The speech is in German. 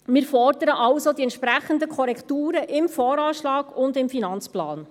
Wir fordern also die entsprechenden Korrekturen im VA und im Finanzplan.